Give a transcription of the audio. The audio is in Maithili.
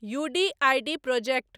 U D I D project